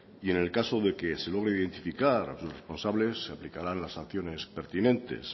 y en el caso de que se logre identificar a los responsables se aplicará las sanciones pertinentes